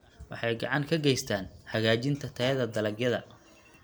Waxay gacan ka geystaan ??hagaajinta tayada dalagyada.